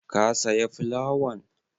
Ka saya fulawan?